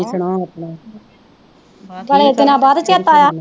ਬੜੇ ਦਿਨਾਂ ਬਾਅਦ ਚੇਤਾ ਆਇਆ।